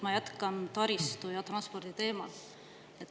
Ma jätkan taristu ja transpordi teemal.